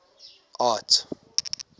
art